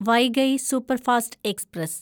Vaigai superfast express